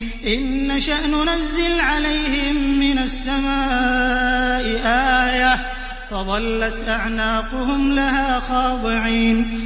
إِن نَّشَأْ نُنَزِّلْ عَلَيْهِم مِّنَ السَّمَاءِ آيَةً فَظَلَّتْ أَعْنَاقُهُمْ لَهَا خَاضِعِينَ